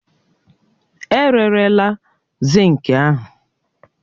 E rerela zinki ahụ